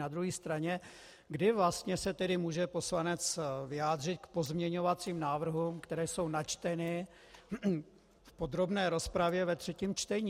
Na druhé straně, kdy vlastně se tedy může poslanec vyjádřit k pozměňovacím návrhům, které jsou načteny v podrobné rozpravě ve třetím čtení?